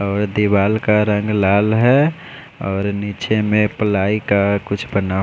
और दीवाल का रंग लाल है और नीचे में पलाई का कुछ बना--